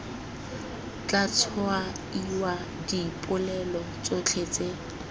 tla tshwaiwa dipolelo tsotlhe tse